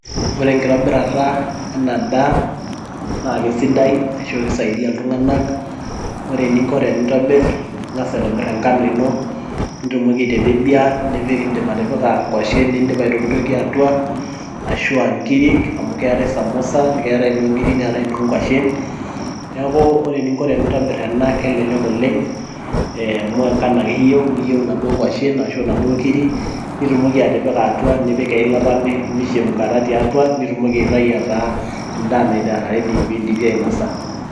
ore enitobirata ena daa naa kisidai, ashu kisaidia iltunganak. ore eninko pee intobir. ing'as aitobir enkano ino, nitumoki aitebebiaa nitumoki atipika nwashen naitootuaa, atua, ashu aa nkirik, amu keetae samusa, enoo nkiri onoo nkwashen. neeku ore enintobir ena kelelek oleng' amu engano ake eyieu ongwashen ashu onkiri weilata.